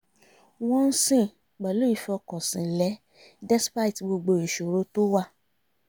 wọ́n ń sìn pẹ̀lú ìfọkànsìn lẹ́ despite gbogbo ìṣòro tó wà